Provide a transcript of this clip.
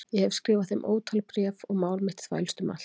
Ég hef skrifað þeim ótal bréf og mál mitt þvælst um allt